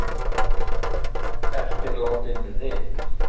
Eftirlátin rit